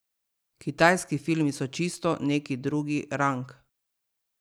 Kitajski filmi so čisto neki drugi rang.